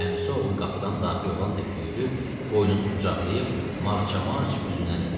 Əmisi oğlu qapıdan daxil olan tək yürüyüb, boynunu qucaqlayıb, marça-març üzündən öpdü.